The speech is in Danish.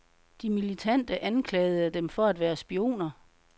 De militante anklagede dem for at være spioner.